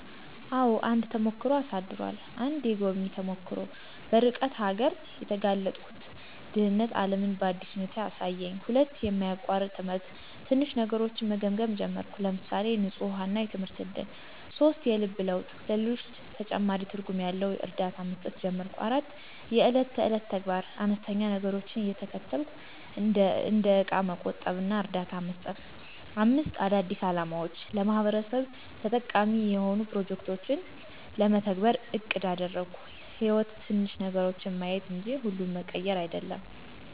**አዎ፣ አንድ ተሞክሮ አሳድሯል!** 1. **የጎብኚ ተሞክሮ** - በርቀት አገር የተጋለጥኩት ድህነት ዓለምን በአዲስ ሁኔታ አሳየኝ። 2. **የማያቋርጥ ትምህርት** - ትንሽ ነገሮችን መገምገም ጀመርኩ (ለምሳሌ፣ ንፁህ ውሃ እና የትምህርት እድል)። 3. **የልብ ለውጥ** - ለሌሎች ተጨማሪ ትርጉም ያለው እርዳታ መስጠት ጀመርኩ። 4. **የዕለት ተዕለት ተግባር** - አነስተኛ ነገሮችን እየተከተልኩ (እንደ እቃ መቆጠብ እና እርዳታ መስጠት)። 5. **አዳዲስ አላማዎች** - ለማህበረሰብ ተጠቃሚ የሆኑ ፕሮጀክቶችን ለመተግበር አቅድ አደረግኩ። > _"ሕይወት ትንሽ ነገሮችን ማየት እንጂ ሁሉን መቀየር አይደለም!"_